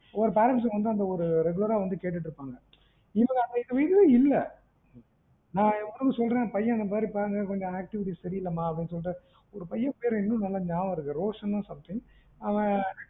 ஒரு parents வந்து அந்த regular ஆ வந்து கேட்டுட்டு இருப்பாங்க இல்ல ந எவ்வளவோ சொல்றேன் பிள்ளை உங்க பையன் activities வந்து சரி இல்லமானு பையன் பேர் இன்னும் நியாபகம் இருக்கு ரோஷன் சொல்லிட்டு